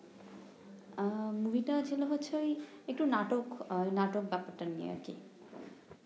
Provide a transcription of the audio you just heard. আহ movie টা ছিল ঐ একটু নাটক নাটক নিয়ে